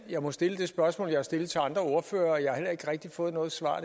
jeg må stille det spørgsmål jeg har stillet til andre ordførere jeg har heller ikke rigtig fået noget svar